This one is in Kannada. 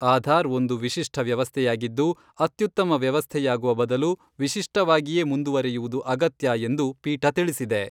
ಆಧಾರ್ ಒಂದು ವಿಶಿಷ್ಟ ವ್ಯವಸ್ಥೆಯಾಗಿದ್ದು, ಅತ್ಯುತ್ತಮ ವ್ಯವಸ್ಥೆಯಾಗುವ ಬದಲು ವಿಶಿಷ್ಟವಾಗಿಯೇ ಮುಂದುವರೆಯುವುದು ಅಗತ್ಯ ಎಂದು, ಪೀಠ ತಿಳಿಸಿದೆ.